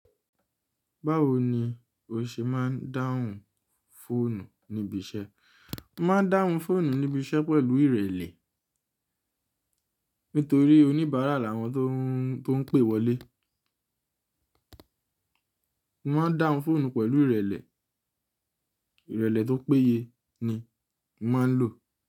Báwo ni o ṣe máa ń dáhùn fóònù níbi iṣẹ́? Mo máa ń dáhùn fóònù níbi iṣẹ́ pẹ̀lú ìrẹlẹ̀. Nítorí oníbàárà làwọn tó ń pè wọlé. Mo máa ń dáhùn fóònù pẹ̀lú ìrẹlẹ̀. Ìrẹlẹ̀ tó péye ni mo máa ń lò.